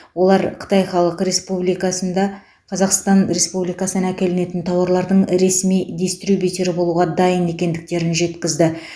олар қытай халық республикасында қазақстан республикасынан әкелінетін тауарлардың ресми дистрибьютері болуға дайын екендіктерін жеткізді